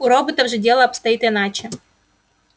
у роботов же дело обстоит иначе